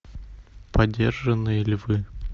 подержанные львы